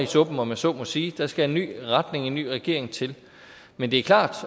suppen om jeg så må sige der skal en ny retning en ny regering til men det er klart